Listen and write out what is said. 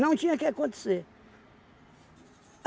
tinha que acontecer.